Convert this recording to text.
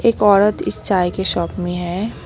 एक औरत इस चाय के शॉप में है।